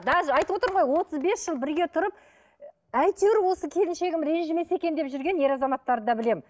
даже айтып отырмын ғой отыз бес жыл бірге тұрып әйтеуір осы келіншегім ренжімесе екен деп жүрген ер азаматтарды да білемін